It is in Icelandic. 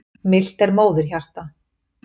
Milt er móðurhjarta.